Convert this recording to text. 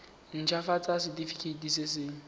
nt hafatsa setefikeiti se se